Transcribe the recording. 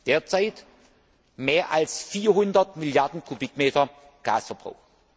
Derzeit haben wir mehr als 400 Milliarden Kubikmeter Gasverbrauch.